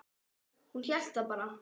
Hún hélt það bara.